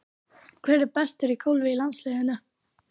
Hver er bestur í golfi í landsliðinu?